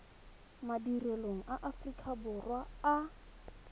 madirelong a aforika borwa a